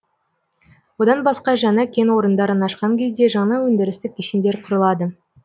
одан басқа жаңа кен орындарын ашқан кезде жаңа өндірістік кешендер құрылады